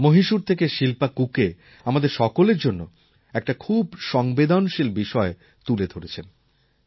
মহীশূর থেকে শিল্পা কুকে আমাদের সকলের জন্য একটা খুব সংবেদনশীল বিষয় তুলে ধরেছেন